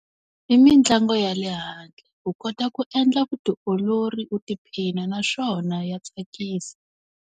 I mitlangu ya le handle. U kota ku endla vutiolori u tiphina naswona ya tsakisa.